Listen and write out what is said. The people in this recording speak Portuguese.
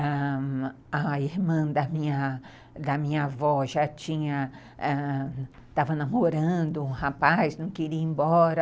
Ãh... A irmã da da minha avó já tinha... ãh... Estava namorando um rapaz, não queria ir embora.